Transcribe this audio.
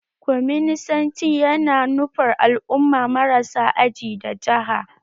Kwaminisanci ya na nufar al'umma marasa aji da jaha